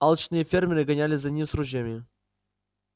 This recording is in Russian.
алчные фермеры гонялись за ним с ружьями